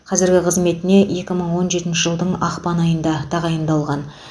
қазіргі қызметіне екі мың он жетінші жылдың ақпан айында тағайындалған